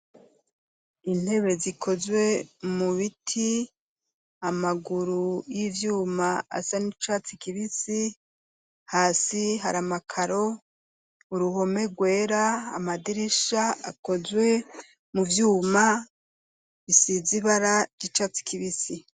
Intebe zikozwe mu biti amaguru y'ivyuma asa n'icatse kibisi hasi hari amakaro uruhome rwera amadirisha akozwe mu vyuma isizibara ry'icatsi kibisi.